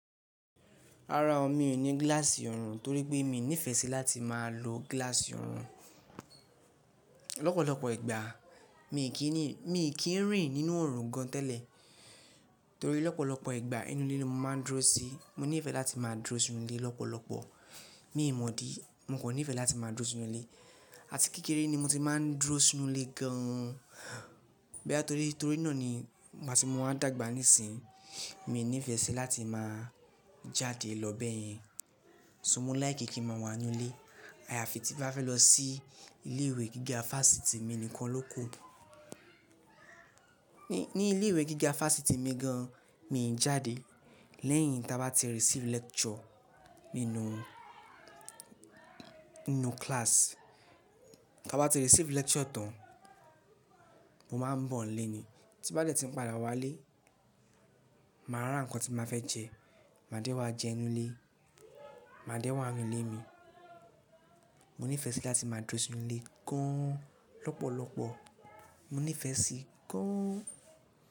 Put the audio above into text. Rárá o, mi ò ní gíláàsì ọ̀run torí pé mi ò nífẹ̀ẹ́ sí láti máa lo gíláàsì ọ̀run. Ọ̀pọ̀lọpọ̀ ìgbà mi kì í rìn nínú ọ̀run gan tẹ́lẹ̀ torí lọ́pọ̀lọpọ̀ ìgbà inú ilé ni mo máa ń dúró sí. Mo nífẹ̀ẹ́ láti máa dúró sínú ilé lọ́pọ̀lọpọ̀. Mi ò mọ̀ dí, mo kan nífẹ̀ẹ́ láti máa dúró sínú ilé àti kékeré ni mo ti máa ń dúró sínú ilé gan-an. Bí i torí náà ni bá ti mo bá dàgbà níìsín, mi ò nífẹ̀ẹ́ sí láti máa jáde lọ bẹ́ẹ̀ yẹn. So mo like kí n máa wà nínú ilé. Àyàfi tí bá fẹ́ lọ sí ilé ìwé gíga fásitì mi nìkan ló kù. Ní ilé ìwé gíga fáfitì mi gan-an, mi ò jáde lẹ́yìn táa bá ti receive lecture nínú class. Táa bá ti receive lecture tán, mo máa ń bọ̀ ní ilé ni. Tí bá dẹ̀ tí n padà wá ilé, màá ra ǹkan tí máa fẹ́ jẹ, màá dé wá jẹ nínu ilé, màá dé wá ninu ilé mi. Mo nífẹ̀ẹ́ sí láti máa dúró sínú ilé gan-an lọ́pọ̀lọpọ̀. Mo nífẹ̀ẹ́ sí gan-an.